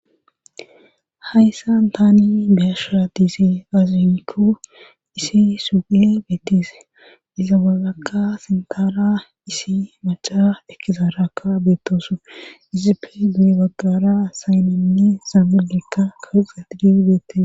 hayssan taani beyasha diiszay azinkko isi suge beettise iza wagakka sintaara isi maca ekizaarakka beettosu izippe due baggara saynenni saamilekka kaxe didi beettise